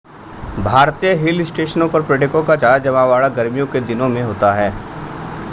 भारतीय हिल स्टशनों पर पर्यटकों का ज्यादा जमावड़ा गर्मियों के दिनों में होता है